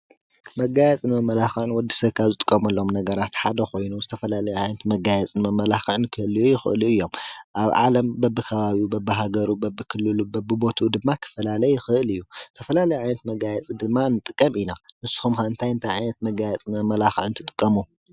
መጋየፂ መመላክዒ ንወድሰብ ካብ ዝጥቀመሎም ነገራት ሓደ ኮይኑ፤ ዝተፈላለዩ ዓይነታት መጋየፂን መመላክዒን ክህልዩ ይክእሉ እዮም፡፡ አብ ዓለም በቢከባቢኡ፣ በቢሃገሩ፣ በቢክልሉን በቢቦትኡ ድማ ክፈላለ ይክእል እዩ፡፡ ዝተፈላለየ ዓይነት መጋየፂ ድማ ንጥቀም ኢና፡፡ ንስኩም ኸ እንታይ እንታይ ዓይነት መጋየፂን መመላክዒን ትጥቀሙ?